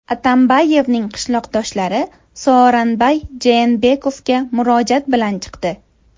Atambayevning qishloqdoshlari Sooranbay Jeenbekovga murojaat bilan chiqdi.